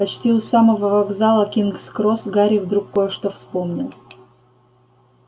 почти у самого вокзала кингс-кросс гарри вдруг кое-что вспомнил